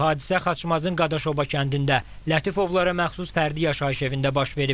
Hadisə Xaçmazın Qadaşova kəndində Lətifovlara məxsus fərdi yaşayış evində baş verib.